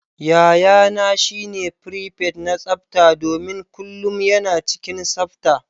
Yayana shine prepet na tsafta domin kullum yana cikin tsafta.